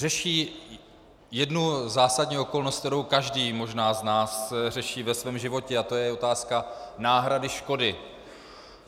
Řeší jednu zásadní okolnost, kterou každý možná z nás řeší ve svém životě, a to je otázka náhrady škody.